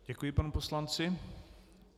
Děkuji panu poslanci.